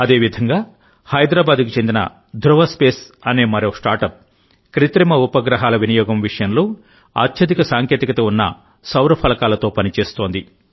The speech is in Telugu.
అదేవిధంగా హైదరాబాద్కు చెందిన ధృవ స్పేస్ అనే మరో స్టార్టప్ కృత్రిమ ఉపగ్రహాల వినియోగం విషయంలో అత్యధిక సాంకేతికత ఉన్న సౌర ఫలకలతో పని చేస్తోంది